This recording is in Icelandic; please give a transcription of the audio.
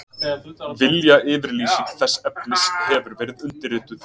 Viljayfirlýsing þess efnis hefur verið undirrituð